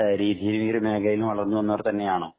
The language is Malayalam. മേഖലയില്‍ നിന്നും വളര്‍ന്നു വന്നവര്‍ തന്നെയാണോ?